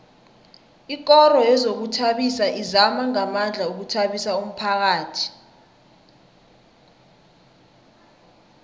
ikoro yezokuzithabisa izama ngamandla ukuthabisa umphakhathi